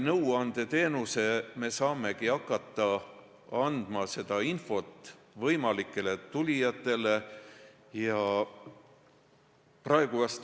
Nõuandeteenuse kaudu me saamegi hakata võimalikele tulijatele vajalikku infot andma.